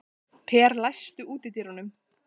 Per, læstu útidyrunum.